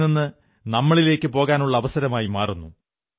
എന്നിൽ നിന്ന് നമ്മളിലേക്ക് പോകാനുള്ള അവസരമായി മാറുന്നു